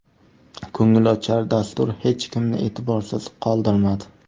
Ko‘ngilochar dastur hech kimni e’tiborsiz qoldirmadi.